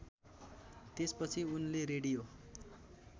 त्यसपछि उनले रेडियो